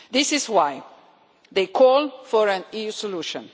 This is why they call for an EU solution.